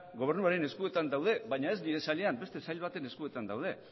gobernuaren eskuetan daude baina ez nire sailean beste sail baten eskuetan daude